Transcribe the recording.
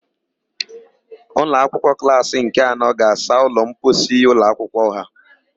Ụmụakwụkwọ klassị nke anọ ga-asa ụlọmposi ụlọakwụkwọ ha.